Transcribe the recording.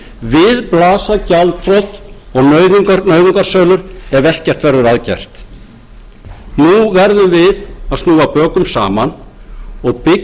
við blasa gjaldþrot og nauðungarsölur ef ekkert verður að gert nú verðum við að snúa bökum saman og byggja upp á